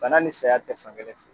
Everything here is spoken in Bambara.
Bana ni saya tɛ fankelen fɛ